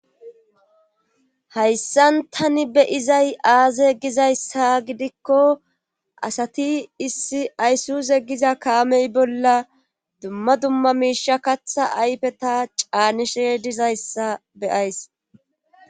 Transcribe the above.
hayssan tani be'izay aaze gizayssa gidikko asati issi ayssuze giza kaamey bolla dumma dumma miisha katha ayfeta caanishe dizayssa be'ays